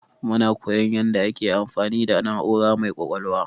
Muna koyon yanda ake amfani da na'ura mai ƙwaƙwalwa.